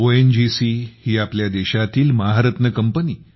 ONGC ही आपल्या देशातील महारत्न कंपनी